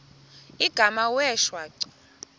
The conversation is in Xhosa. igama wee shwaca